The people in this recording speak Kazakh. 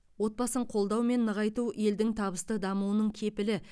отбасын қолдау мен нығайту елдің табысты дамуының кепілі